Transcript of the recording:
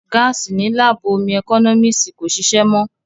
Gáàsì ní láàbù ómú ẹkọ́nọ́mísì kò ṣìṣé mọ́